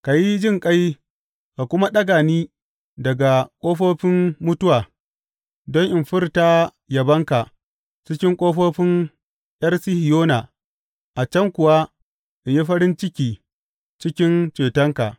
Ka yi jinƙai ka kuma ɗaga ni daga ƙofofin mutuwa, don in furta yabanka cikin ƙofofin ’Yar Sihiyona a can kuwa in yi farin ciki cikin cetonka.